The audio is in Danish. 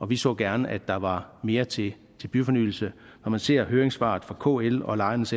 vi så gerne at der var mere til byfornyelse når man ser høringssvaret fra kl og lejernes